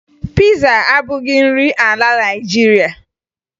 Piza abụghị nri ala Naịjirịa